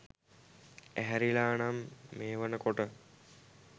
ඇහැරිලා නම් මේ වෙන කොට